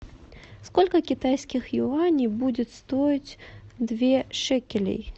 сколько китайских юаней будет стоить две шекелей